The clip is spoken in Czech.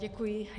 Děkuji.